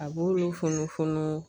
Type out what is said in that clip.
A b'olu funu funun